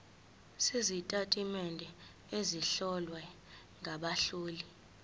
sezitatimende ezihlowe ngabahloli